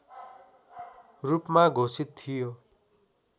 रूपमा घोषित थियो